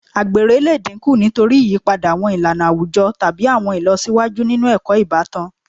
Àgbèrè lè dínkù nítorí ìyípadà àwọn ìlànà àwùjọ tàbí àwọn ìlọsíwájú nínú ẹ̀kọ́ ìbátan